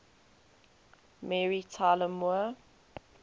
mary tyler moore